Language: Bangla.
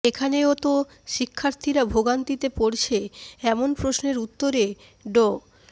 এখানেও তো শিক্ষার্থীরা ভোগান্তিতে পড়ছে এমন প্রশ্নের উত্তরে ড